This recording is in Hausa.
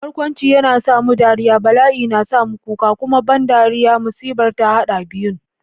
Barkwanci yana sa mu dariya, bala'i na sa mu kuka, kuma ban dariya-musibar ta haɗa biyun.